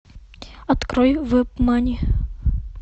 открой вебмани